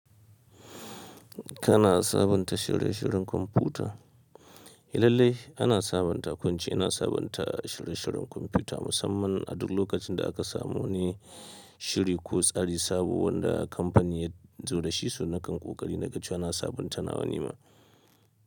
Kana sabunta shirye-shiryen kwamfuta? Lallai ana sabunta ko in ce, ina sabunta shirye-shiryen kwamfuta musamman a duk lokacin da aka samu wani shiri ko tsari sabo wanda kamfanin ya zo da shi, so na kan ƙoƙari na ga cewa na sabunta nawa nima.